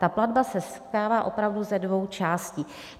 Ta platba se skládá opravdu ze dvou částí.